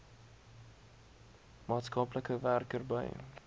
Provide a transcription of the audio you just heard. maatskaplike werker by